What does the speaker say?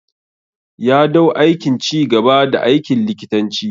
Ya dau aikin ci gaba da aikin likitanci.